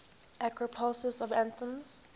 acropolis of athens